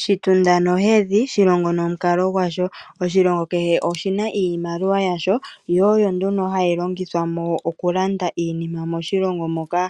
Shitunda nohedhi, Shilongo nomukalo gwasho. Oshilongo kehe oshina iimaliwa yasho, yo oyo nduno hayi longithwa mo oku landa iinima moshilongo moka.